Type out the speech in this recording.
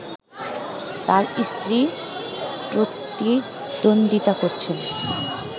তার স্ত্রী প্রতিদ্বন্দ্বিতা করছেন